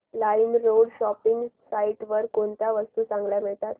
LimeRoad shopping site वर कोणत्या वस्तू चांगल्या मिळतात